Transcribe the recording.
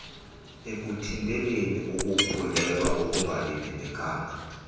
ekuthinteleni ukukhulelwea okungalindelekanga